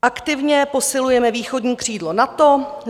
Aktivně posilujeme východní křídlo NATO.